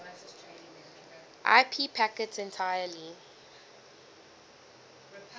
ip packets entirely